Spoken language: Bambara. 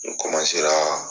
N ra.